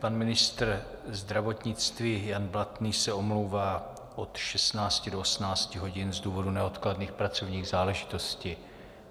Pan ministr zdravotnictví Jan Blatný se omlouvá od 16 do 18 hodin z důvodu neodkladných pracovních záležitostí.